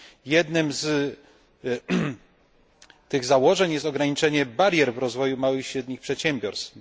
Jednym z tych założeń jest ograniczenie barier w rozwoju małych i średnich przedsiębiorstw.